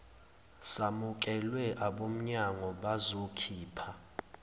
samukelwe abomnyango bazokhipha